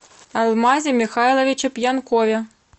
алмазе михайловиче пьянкове